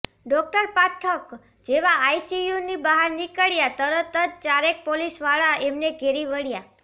doctor Pathak જેવા આઈસીયુની બહાર નીકળ્યાં તરત જ ચારેક પોલીસવાળા એમને ઘેરી વળ્યા